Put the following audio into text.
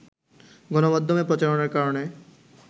গণমাধ্যমে প্রচারণার কারণে